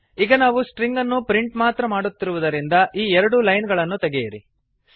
ಈಗ ನಾವು ಸ್ಟ್ರಿಂಗ್ ಅನ್ನು ಪ್ರಿಂಟ್ ಮಾತ್ರ ಮಾಡುತ್ತಿರುವುದರಿಂದ ಈ ಎರಡು ಲೈನ್ ಗಳನ್ನು ತೆಗೆಯಿರಿ